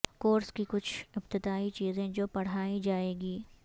course کی کچھ ابتدائی چیزیں جو پڑھائی جائیں گی